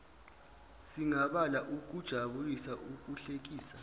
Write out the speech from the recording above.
singabala ukujabulisa ukuhlekisa